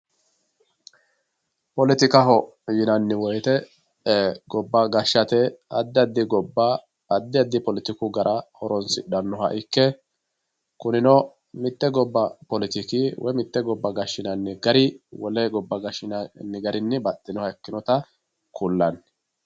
poletikaho yinanni woyiite gobba gashshate addi addi gobba addi addi poletiku gara horonsidhannoha ikke kunino mitte gobba poletiki woye mitte gobba gashshinanni gari wole gabba gashshinanni garinni baxinoha ikkinota kullanni.